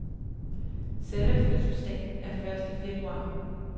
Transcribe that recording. Selve fødselsdagen er første februar.